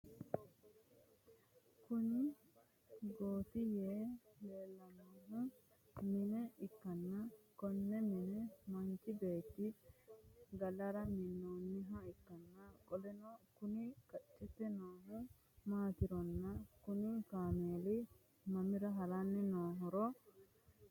Kuni Gotti yee leellannohu mine ikkanna konne mine manchi beetti galara mi'ninoha ikkanna qoleno Kuni qaccete noohu maatironna Kuni kaameeli mamira haranni noohoro xawisie ?